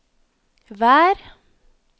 vær